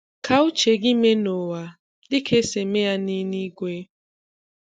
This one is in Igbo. Ka uche gị mee n’ụwa, dị ka esi eme ya n’eluigwe.